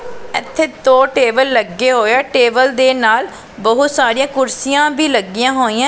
ਇਥੇ ਦੋ ਟੇਬਲ ਲੱਗੇ ਹੋਏ ਆ ਟੇਬਲ ਦੇ ਨਾਲ ਬਹੁਤ ਸਾਰੀਆਂ ਕੁਰਸੀਆਂ ਵੀ ਲੱਗੀਆਂ ਹੋਈਐ--